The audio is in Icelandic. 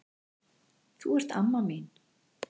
Þú ert amma mín.